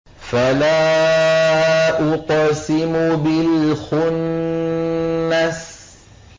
فَلَا أُقْسِمُ بِالْخُنَّسِ